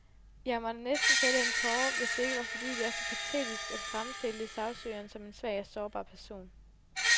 Jeg må næsten fælde en tåre, hvis det ikke var fordi, det er så patetisk at fremstille sagsøgeren som en svag og sårbar person.